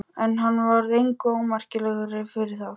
En hann varð engu ómerkilegri fyrir það.